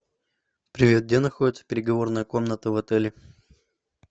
привет где находится переговорная комната в отеле